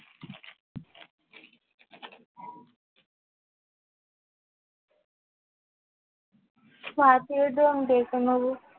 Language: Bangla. পাঠিয়ে দে আমি দেখে নেবো